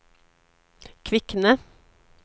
Kvikne